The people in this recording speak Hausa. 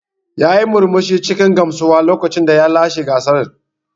Yayi murmushi cikin gamsuwa lokacin da ya lashe gasar.